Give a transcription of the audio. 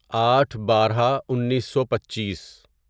آٹھ بارہ انیسو پچیس